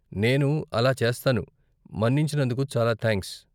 నేను అలా చేస్తాను, మన్నించినందుకు చాలా థాంక్స్ !